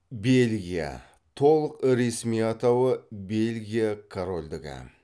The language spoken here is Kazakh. бельгия толық ресми атауы бельгия корольдігі